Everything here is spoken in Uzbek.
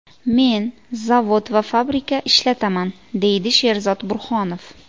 Men zavod va fabrika ishlataman, deydi Sherzod Burhonov.